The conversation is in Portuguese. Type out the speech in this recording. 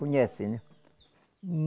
Conhece, né?